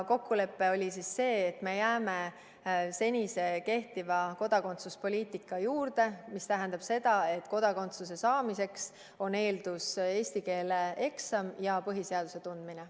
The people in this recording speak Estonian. Kokkulepe oli selline, et me jääme seni kehtiva kodakondsuspoliitika juurde, mis tähendab seda, et kodakondsuse saamise eeldus on eesti keele eksam ja põhiseaduse tundmine.